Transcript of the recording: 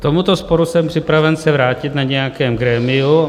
K tomuto sporu jsem připraven se vrátit na nějakém grémiu.